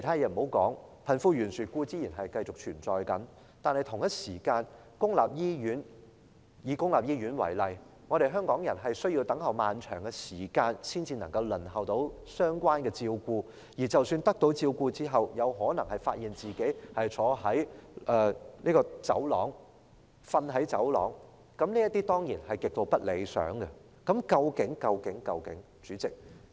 遠的不說，貧富懸殊固然繼續存在，同時，以公立醫院為例，香港人需要等候漫長的時間，才能輪候到相關的照顧，而得到照顧之後，卻有可能發現自己要坐在或睡在走廊，這當然是極度不理想的情況。